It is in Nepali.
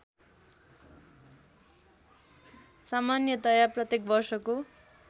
सामान्यतया प्रत्येक वर्षको